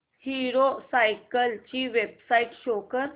hero cycles ची website show कर